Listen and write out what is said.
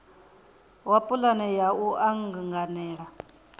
wa pulane ya u anganela